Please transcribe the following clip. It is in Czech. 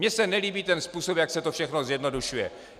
Mně se nelíbí ten způsob, jak se to všechno zjednodušuje.